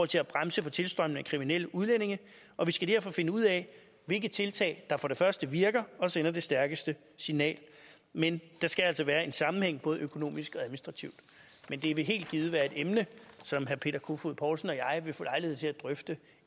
til at bremse for tilstrømningen af kriminelle udlændinge og vi skal derfor finde ud af hvilke tiltag der for det første virker og sender det stærkeste signal men der skal altså være en sammenhæng både økonomisk og administrativt men det vil helt givet være et emne som herre peter kofod poulsen og jeg vil få lejlighed til at drøfte